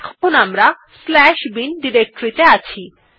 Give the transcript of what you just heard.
এখন আমরা bin directory ত়ে আছি